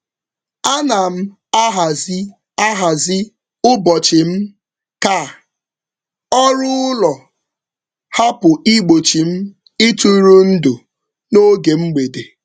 Ana m ahazi ahazi ụbọchị m ka ọrụ ụlọ hapụ igbochi m ịtụrụndụ n'oge mgbede.